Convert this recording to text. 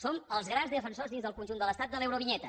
som els grans defensors dins del conjunt de l’estat de l’eurovinyeta